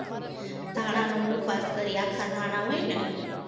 ધાણાનો મુખવાસ કરીએ, આખા ધાણા હોય ને